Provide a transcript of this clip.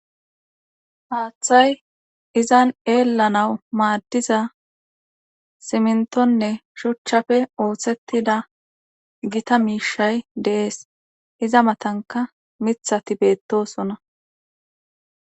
Haathay izan eelanaw maaddizza simintonene shuchafe oosettida gita miishay de7ees iza matanka mithati beetoosona